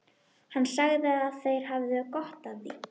Hann sagði að þeir hefðu gott af því.